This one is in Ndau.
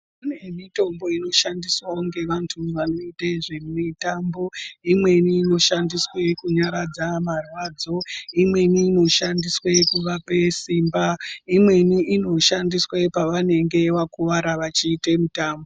Pane mitombo inoshandiswawo ngevantu vanoite zvemitambo. Imweni inoshandiswa kunyaradza marwadzo. Imweni inoshandiswa kunyaradza marwadzo. Imweni inoshandiswa pavanenge vakuvara vachiite mitambo.